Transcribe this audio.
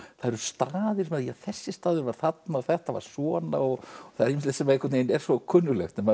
það eru staðir þarna þessi staður var þarna og þetta var svona og það er ýmislegt sem er svo kunnuglegt en maður